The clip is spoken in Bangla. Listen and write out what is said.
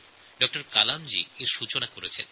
ড কালাম এটা শুরু করেছেন